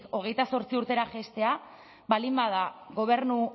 hogeita zortzi urtera jaistea baldin bada gobernu